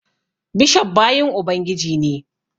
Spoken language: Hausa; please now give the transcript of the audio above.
Bishof bayin Ubangiji ne